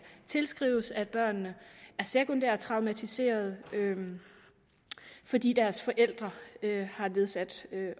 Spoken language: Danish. tilskrives at børnene er sekundært traumatiserede fordi deres forældre har nedsat